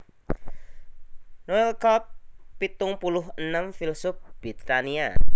Noel Cobb pitung puluh enem filsuf Britania